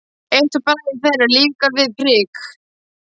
Eitt bragðið þeirra lífgar við prik.